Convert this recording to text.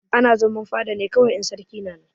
Ana zaman fada ne kawai in sarki yana nan.